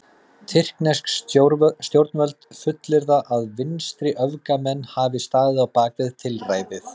Tyrknesk stjórnvöld fullyrða að vinstriöfgamenn hafi staðið á bak við tilræðið.